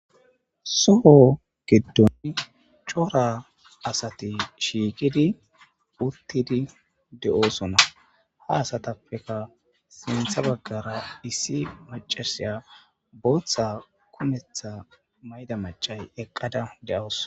Soo geddon cora asati shiikidi uttidi de'osona ha asatappeka sentha baggara issi macasiya booththa kumetha mayda macay eqqada de'us